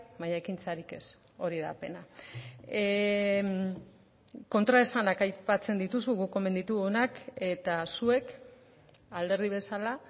baina ekintzarik ez hori da pena kontraesanak aipatzen dituzu guk omen ditugunak eta zuek alderdi bezala